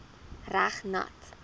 reg nat